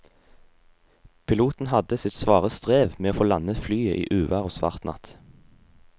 Piloten hadde sitt svare strev med å få landet flyet i uvær og svart natt.